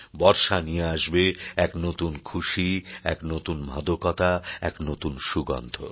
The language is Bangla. বর্ষা নিয়ে আসবে এক নতুন খুশি এক নতুন মাদকতা এক নতুন সুগন্ধ